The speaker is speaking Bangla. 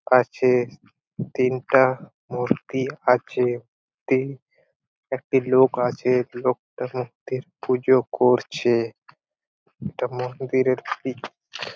কাছে তিনটা মূর্তি আছে তি একটি লোক আছে লোকটা মূর্তির পুজো করছে ইটা মন্দিরের পিক ।